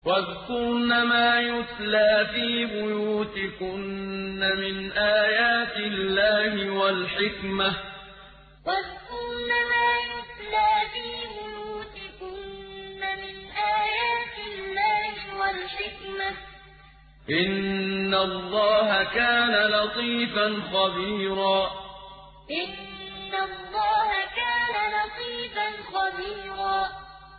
وَاذْكُرْنَ مَا يُتْلَىٰ فِي بُيُوتِكُنَّ مِنْ آيَاتِ اللَّهِ وَالْحِكْمَةِ ۚ إِنَّ اللَّهَ كَانَ لَطِيفًا خَبِيرًا وَاذْكُرْنَ مَا يُتْلَىٰ فِي بُيُوتِكُنَّ مِنْ آيَاتِ اللَّهِ وَالْحِكْمَةِ ۚ إِنَّ اللَّهَ كَانَ لَطِيفًا خَبِيرًا